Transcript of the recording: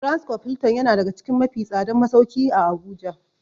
Transcorp Hilton yana daga cikin mafi tsadan masauki a habuja.